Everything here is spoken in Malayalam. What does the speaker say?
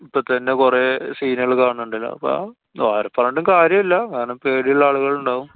ഇപ്പൊ തന്നെ കൊറേ scene കള് കാണുന്നുണ്ടല്ലോ? അപ്പൊ ഓരെ പറഞ്ഞിട്ടും കാര്യം ഇല്ല. കാരണം പേടിള്ള ആളുകളുണ്ടാവും.